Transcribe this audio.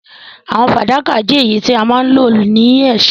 Àwò fàdákà je èyí tí a ma n lo ni èsó